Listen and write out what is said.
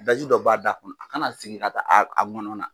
Daji dɔ b'a da kɔnɔ ,a kana segin ka taa a gɔnɔ na.